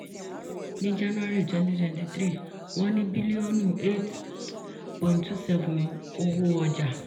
ní january twenty twenty-three wọ́n ní bílíọ̀nù cs] eight point two seven owó ọjà.